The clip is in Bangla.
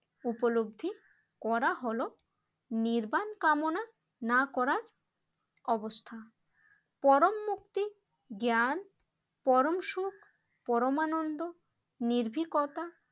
উপলব্ধি করা হলো নির্বান কামনা না করার অবস্থা। পরম মুক্তি জ্ঞান পরম সুখ পরমানন্দ নির্ভীকতা